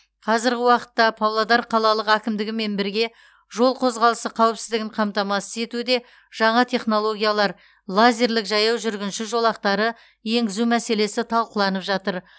қазіргі уақытта павлодар қалалық әкімдігімен бірге жол қозғалысы қауіпсіздігін қамтамасыз етуде жаңа технологиялар лазерлік жаяу жүргінші жолақтары енгізу мәселесі талқыланып жатыр